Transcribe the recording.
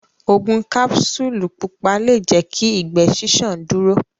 Ogun kapsulu pupa le jẹ kí ìgbé ṣiṣan dúró.